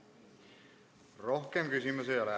Rohkem küsimusi ei ole.